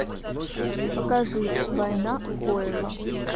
покажи война фойла